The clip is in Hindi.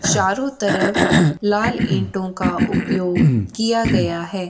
चारों तरफ लाल ईटों का उपयोग किया गया है।